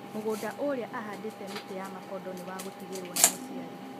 Mũgũnda ũrĩa ahandĩte mĩtĩ ya makondo nĩ wa gũtigĩrwo nĩ mũciari